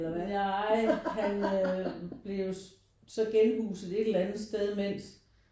Nej han øh blev jo så genhuset et eller andet sted imens